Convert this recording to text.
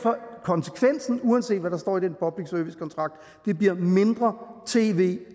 konsekvensen uanset hvad der står i den public service kontrakt mindre tv